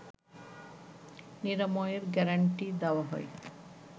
নিরাময়ের গ্যারান্টি দেওয়া হয়